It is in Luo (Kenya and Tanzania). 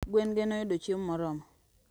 Gwen ge noyudo chiemo moromo